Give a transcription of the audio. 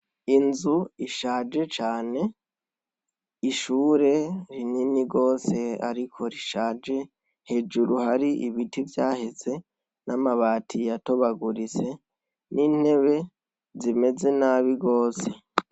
Inzu ishaje cane; ishure rinini rwose ariko rishaje. Hejuru hari ibiti vyaheze n'amabati yatobaguritse n'intebe zimeze nabi rwose.